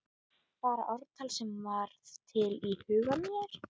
Bara ártal sem varð til í huga mér.